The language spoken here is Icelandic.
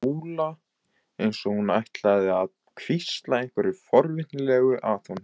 Skúla eins og hún ætlaði að hvísla einhverju forvitnilegu að honum.